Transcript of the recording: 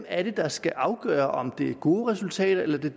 er der skal afgøre om det er gode resultater eller